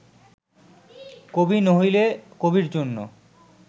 কবি নহিলে কবির জন্য